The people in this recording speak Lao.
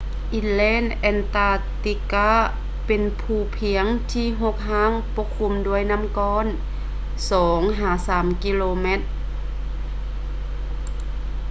inland antarctica ເປັນພູພຽງທີ່ຮົກຮ້າງປົກຄຸມດ້ວຍນໍ້າກ້ອນ 2-3 ກິໂລແມັດ